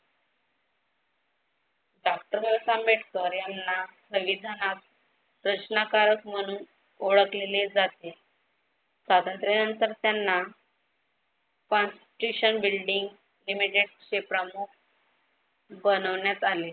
Doctor Ambedkar यांना संविधानात प्रश्नाकारक म्हणून ओळखलेले जाते. स्वातंत्र्यानंतर त्यांना partition building images प्रमुख बनवण्यात आले.